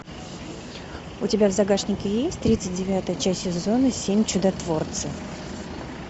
у тебя в загашнике есть тридцать девятая часть сезона семь чудотворцев